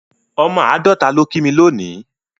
Ọmọ Àádọ́ta ló kí mí lónìí